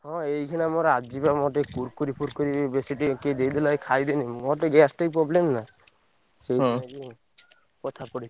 ହଁ ଏଇଖିଣା ମୋର ଆଜି ବା ମୋର ଟିକେ Kurkure ଫୁରକୁରୁ ବେଶୀ ଟିକେ କିଏ ଦେଇଦେଲା ଏଇ ଖାଇଦେଲି ମୋର ଟିକେ gastric problem ନା ସେଇଥି ପାଇଁ କଥା ପଡିଛି।